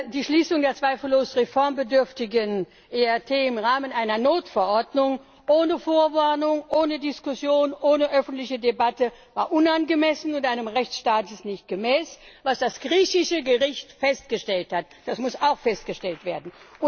Die Schließung des zweifellos reformbedürftigen ERT im Rahmen einer Notverordnung ohne Vorwarnung, ohne Diskussion, ohne öffentliche Debatte war unangemessen und einem Rechtsstaat nicht gemäß, was das griechische Gericht festgestellt hat das muss auch gesagt werden.